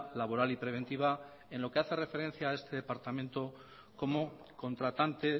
laboral y preventiva en lo que hace referencia a este departamento como contratante